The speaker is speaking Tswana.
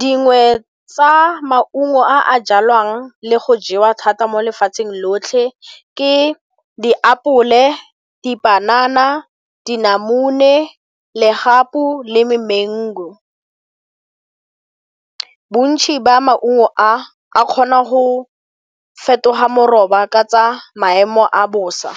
Dingwe tsa maungo a a jalwang le go jewa thata mo lefatsheng lotlhe ke diapole, dipanana, dinamune, legapu le me mango. Bontsi ba maungo a a kgona go fetoga moroba ka tsa maemo a bosa,